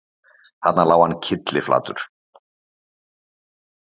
Þarna lá hann kylliflatur